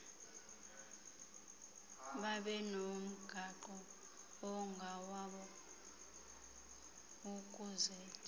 babenomgaqo ongowabo ukuzed